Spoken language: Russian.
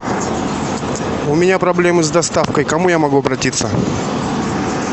у меня проблемы с доставкой к кому я могу обратиться